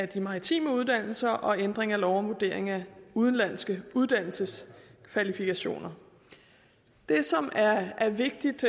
de maritime uddannelser og ændring af lov om vurdering af udenlandske uddannelseskvalifikationer det som er vigtigt